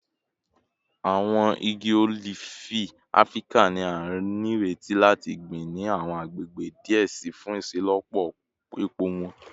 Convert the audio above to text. Awọn igi olifi Afirika ni a nireti lati gbin ni awọn agbegbe diẹ sii fun iṣelọpọ epo wọn